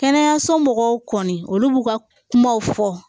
Kɛnɛyaso mɔgɔw kɔni olu b'u ka kumaw fɔ